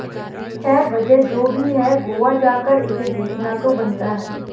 खैर वजह जो भी है गोवा जाकर इसे देखना तो बनता है